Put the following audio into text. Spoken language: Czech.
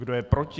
Kdo je proti?